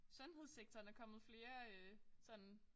Sundhedssektoren er kommet flere øh sådan